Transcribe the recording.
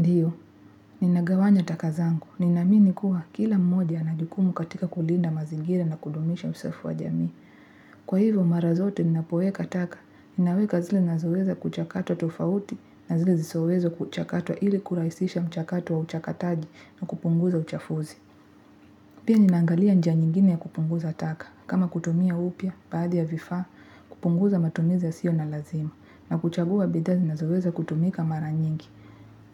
Ndio, ninagawanya taka zangu. Nina amini kuwa kila mmoja anajukumu katika kulinda mazingira na kudumisha usafi wa jamii. Kwa hivyo, mara zote ninapo weka taka, ninaweka zile nazoweza kuchakata tofauti na zile zisizoweza kuchakatwa ili kurahisisha mchakato wa uchakataji na kupunguza uchafuzi. Pia ninaangalia njia nyingine ya kupunguza taka, kama kutumia upya, baadhi ya vifaa, kupunguza matumizi yasio na lazima, na kuchagua bidhaa zinazoweza kutumika mara nyingi.